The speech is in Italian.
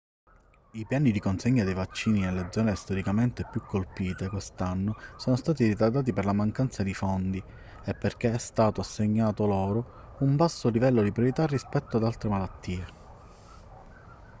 i piani di consegna dei vaccini nelle zone storicamente più colpite quest'anno sono stati ritardati per la mancanza di fondi e perché è stato assegnato loro un basso livello di priorità rispetto ad altre malattie